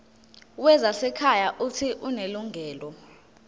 wezasekhaya uuthi unelungelo